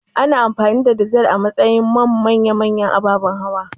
Ana amfani da dizal a matsayin man manya-manyan ababan hawa